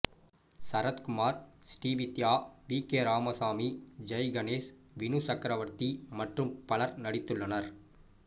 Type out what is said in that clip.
Sarathkumar Srividya V K Ramasamy Jaiganesh Vinu Chakravarthy மற்றும் பலர் நடித்துள்ளனர்